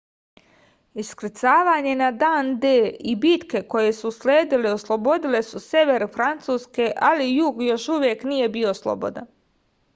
iskrcavanje na dan d i bitke koje su usledile oslobodile su sever francuske ali jug još uvek nije bio slobodan